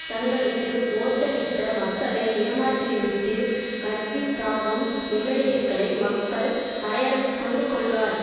தங்களுக்கு ஓட்டளித்த மக்களை ஏமாற்றிவிட்டும் கட்சி தாவும் எம்எல்ஏக்களை மக்கள் அடையாளம் கொண்டுக்கொள்வார்